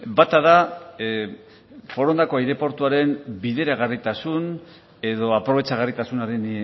bata da forondako aireportuaren bideragarritasun edo aprobetxagarritasunaren